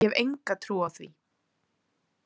Ég hef enga trú á því.